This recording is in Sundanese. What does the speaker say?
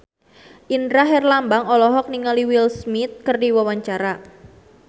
Indra Herlambang olohok ningali Will Smith keur diwawancara